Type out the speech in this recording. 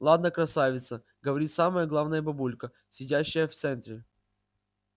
ладно красавица говорит самая главная бабулька сидящая в центре